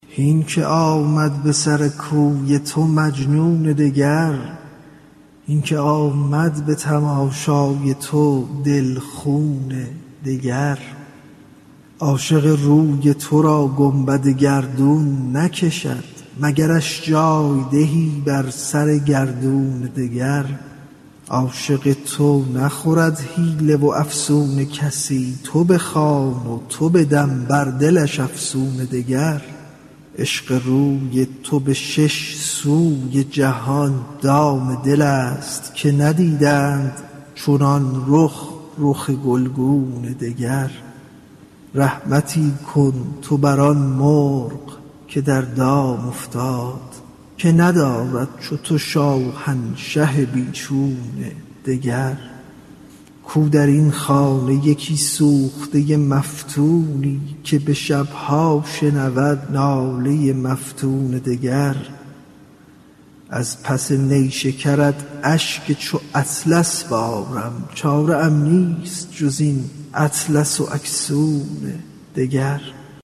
هین که آمد به سر کوی تو مجنون دگر هین که آمد به تماشای تو دل خون دگر عاشق روی تو را گنبد گردون نکشد مگرش جای دهی بر سر گردون دگر عاشق تو نخورد حیله و افسون کسی تو بخوان و تو بدم بر دلش افسون دگر عشق روی تو به شش سوی جهان دام دلست که ندیدند چنان رخ رخ گلگون دگر رحمتی کن تو بر آن مرغ که در دام افتاد که ندارد چو تو شاهنشه بی چون دگر کو در این خانه یکی سوخته مفتونی که به شب ها شنود ناله مفتون دگر از پس نیشکرت اشک چو اطلس بارم چاره ام نیست جز این اطلس و اکسون دگر